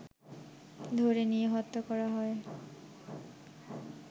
ধরে নিয়ে হত্যা করা হয়